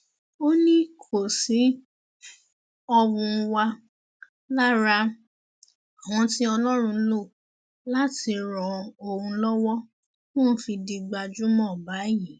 ó ní kóòsì ọhún wà lára àwọn tí ọlọrun lò láti ran òun lọwọ tóun fi di gbajúmọ báyìí